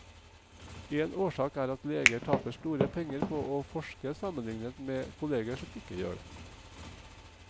En årsak er at leger taper store penger på å forske sammenlignet med kolleger som ikke gjør det.